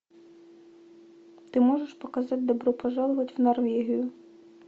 ты можешь показать добро пожаловать в норвегию